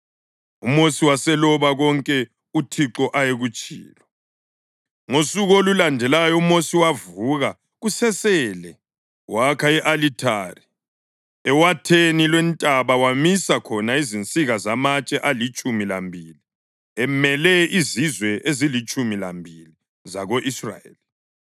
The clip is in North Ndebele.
UMosi waseloba konke uThixo ayekutshilo. Ngosuku olulandelayo uMosi wavuka kusesele wakha i-alithari ewatheni lwentaba wamisa khona izinsika zamatshe alitshumi lambili emele izizwe ezilitshumi lambili zako-Israyeli.